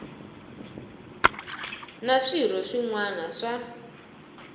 na swirho swin wana swa